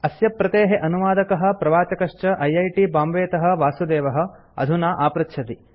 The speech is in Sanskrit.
अस्य प्रतेः अनुवादकः प्रवाचकश्च ऐ ऐ टि बांबे तः वासुदेवः अधुना आपृच्छति